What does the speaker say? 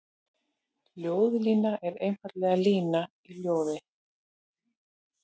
Ljóðlína er einfaldlega lína í ljóði.